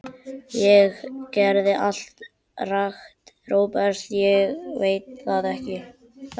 Ég gerði allt rangt, Róbert, og ég veit það.